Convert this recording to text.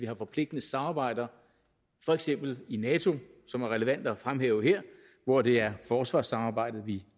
har forpligtende samarbejder for eksempel i nato som er relevant at fremhæve her hvor det er forsvarssamarbejdet vi